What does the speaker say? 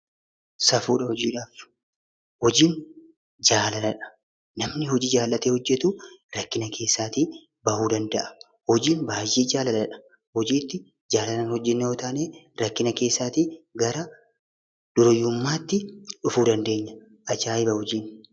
Safuudha! hojiidhaf, hojiin jaalaladha. namni hojii jaallate hojjetu rakkina keesaa ba'uu danda'a. hojiin baay'ee jaalaladha. hojiitti jaalalan hojjeenna yoo taane rakkina keessa gara dureessummatti dhufu dandeenya. aja'iba! hojiin.